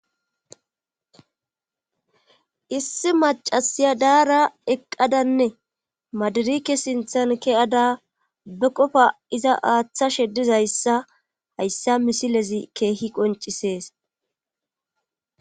Issi macasiya daara eqqadanne maadarike sinthan ke'ada be qofa iza aaththa shedizayssa hayssa misilezi keehi qoncisees.